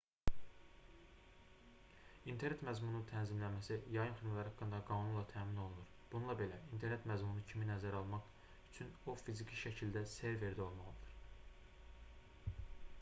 i̇nternet məzmununun tənzimlənməsi yayım xidmətləri haqqında qanunla təmin olunur bununla belə i̇nternet məzmunu kimi nəzərə alınmaq üçün o fiziki şəkildə serverdə olmalıdır